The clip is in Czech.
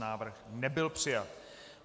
Návrh nebyl přijat.